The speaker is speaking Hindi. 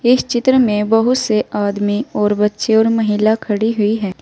इस चित्र में बहुत से आदमी और बच्चे और महिला खड़ी हुई हैं।